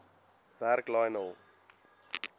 werk lionel